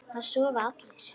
Það sofa allir.